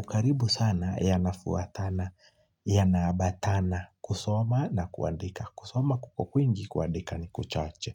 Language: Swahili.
ukaribu sana yanafuatana yanaambatana kusoma na kuandika kusoma kwingi kuandika ni kuchache.